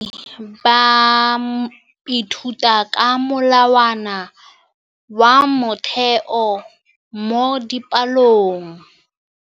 Baithuti ba ithuta ka molawana wa motheo mo dipalong.